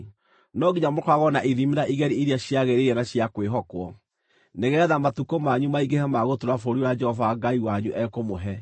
No nginya mũkoragwo na ithimi na igeri iria ciagĩrĩire na cia kwĩhokwo, nĩgeetha matukũ manyu maingĩhe ma gũtũũra bũrũri ũrĩa Jehova Ngai wanyu ekũmũhe.